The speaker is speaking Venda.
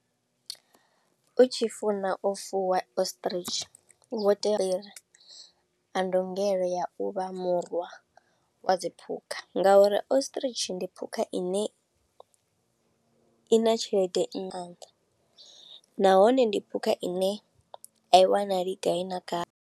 U tshi funa u fuwa ostrich, u khou tea u ya, na ndungelo ya uvha murwa wa dziphukha, nga uri ostrich ndi phukha ine i na tshelede nga maanḓa. Nahone ndi phukha ine a i wanali gai na gai.